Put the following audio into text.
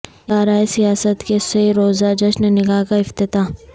ادارہ سیاست کے سہ روزہ جشن نکاح کا افتتاح